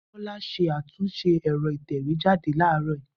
Bola ṣe àtúnṣe ẹ̀rọ ìtẹ̀wé jáde ní àárọ̀ yìí